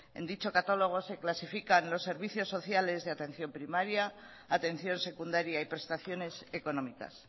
en dicho catálogo se clasifican los servicios sociales de atención primaria atención secundaria y prestaciones económicas